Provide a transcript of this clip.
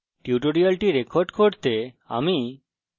এই tutorial record করতে আমি